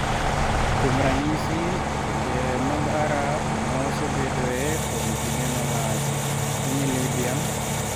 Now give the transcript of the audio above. Kuom ranyisi, e pinje mag Arab ma asebedoe kuom kinde malach, piny Libya.